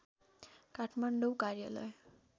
काठमाडौँ कार्यालय